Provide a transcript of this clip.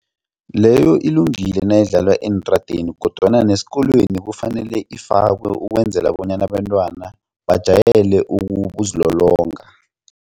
Leyo ilungile nayidlalwa eentradeni kodwana nesikolweni kufanele ifakwe ukwenzela bonyana abentwana bajayele ukuzilolonga.